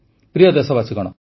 ପ୍ରିୟ ଦେଶବାସୀଗଣ